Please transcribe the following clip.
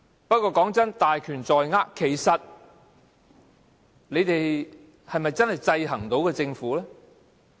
不過，雖說是大權在握，但其實你們是否真的能夠制衡政府呢？